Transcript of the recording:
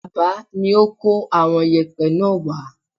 Alaba ni ó kó àwọn yẹ̀pẹ́ náà wá